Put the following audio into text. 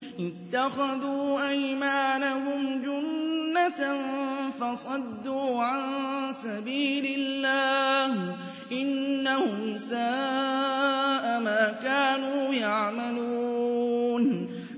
اتَّخَذُوا أَيْمَانَهُمْ جُنَّةً فَصَدُّوا عَن سَبِيلِ اللَّهِ ۚ إِنَّهُمْ سَاءَ مَا كَانُوا يَعْمَلُونَ